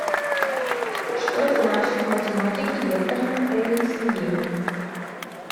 что значит в математике векторное произведение